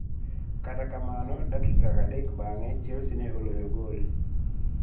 Kata kamano, dakika adek bang'e, Chelsea ne oloyo gol.